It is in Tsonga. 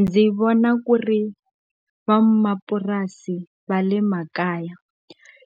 Ndzi vona ku ri vamapurasi va le makaya